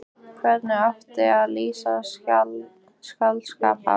Hvernig á að lýsa skáldskap hans?